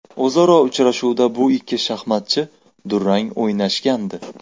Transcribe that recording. O‘zaro uchrashuvda bu ikki shaxmatchi durang o‘ynashgandi.